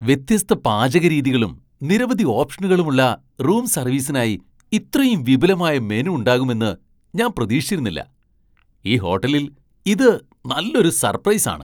വ്യത്യസ്ത പാചകരീതികളും നിരവധി ഓപ്ഷനുകളുമുള്ള റൂം സർവീസിനായി ഇത്രയും വിപുലമായ മെനു ഉണ്ടാകുമെന്ന് ഞാൻ പ്രതീക്ഷിച്ചിരുന്നില്ല. ഈ ഹോട്ടലിൽ ഇത് നല്ലൊരു സർപ്രൈസ് ആണ്!